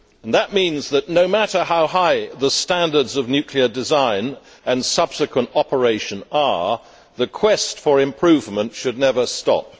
That means that, no matter how high the standards of nuclear design and subsequent operation are, the quest for improvement should never stop'.